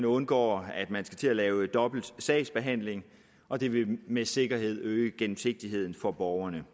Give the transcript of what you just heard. undgår at man skal til at lave dobbelt sagsbehandling og det vil med sikkerhed øge gennemsigtigheden for borgerne